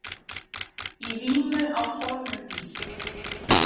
Í vímu á stolnum bíl